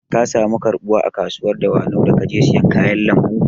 Ka samu karɓuwa a kasuwar dawanau da ka je siyan kayan lambu?